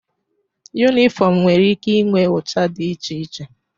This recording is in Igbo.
Yunifọmụ nwere ike inwe ụcha dị iche iche.